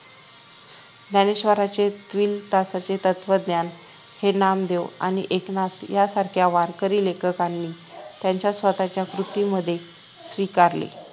ज्ञानेश्वरांचे चिव्दिलासचे तत्वज्ञान हे नामदेव आणि एकनाथ यांसारख्या वारकरी लेखकांनी त्यांच्या स्वतःच्या कृतींमध्ये स्वीकारले